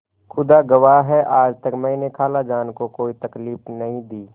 खुदा गवाह है आज तक मैंने खालाजान को कोई तकलीफ नहीं दी